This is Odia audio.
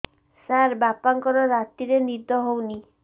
ସାର ବାପାଙ୍କର ରାତିରେ ନିଦ ହଉନି